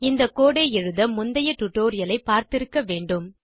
இந்த கோடு ஐ எழுத முந்தைய டுடோரியலை பார்த்திருக்க வேண்டும்